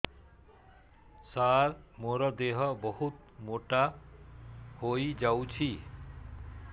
ସାର ମୋର ଦେହ ବହୁତ ମୋଟା ହୋଇଯାଉଛି